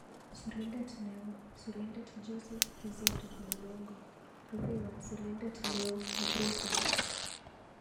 Sirindet neoo-Sirindet Joseph Kizito Malongo. Rupeiywot Sirindet neoo- hephoso